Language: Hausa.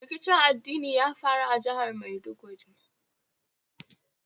Rikicin addini ya faru a jihar Maiduguri.